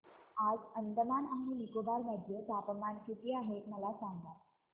आज अंदमान आणि निकोबार मध्ये तापमान किती आहे मला सांगा